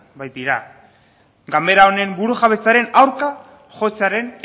baitira gabera honen burujabetzaren aurka jotzearen